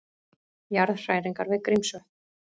Jarðhræringar við Grímsvötn